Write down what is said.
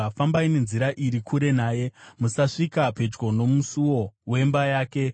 Fambai nenzira iri kure naye, musasvika pedyo nomusuo wemba yake,